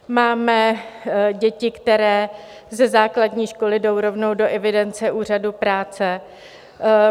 Máme děti, které ze základní školy jdou rovnou do evidence Úřadu práce.